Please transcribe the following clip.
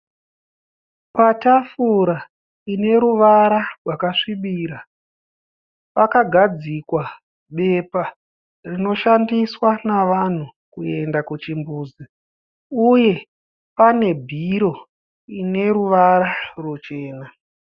Patafura pane ruvara rwakasvibira. Pakagadzigwa bepa rinoshandiswa navanhu kuenda kuchimbudzi uye pane bhiro ine ruvara ruchena.